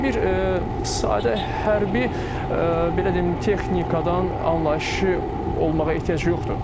Amma bir sadə hərbi belə deyim, texnikadan anlayışı olmağa ehtiyac yoxdur.